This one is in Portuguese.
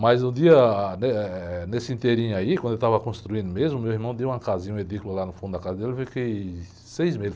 Mas um dia, ah, né, nesse ínterim aí, enquanto eu estava construindo mesmo, meu irmão deu uma casinha, um edícula lá no fundo da casa dele, eu fiquei seis meses.